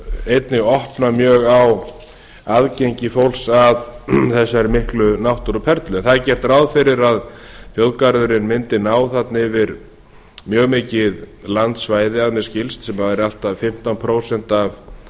einnig opna mjög á aðgengi fólks að þessari miklu náttúruperlu en það er gert ráð fyrir að þjóðgarðurinn mundi ná þarna yfir mjög mikið landsvæði að mér skilst sem væri allt að fimmtán prósent af